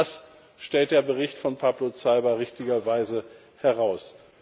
Auch das stellt der Bericht von Pablo Zalba richtigerweise heraus.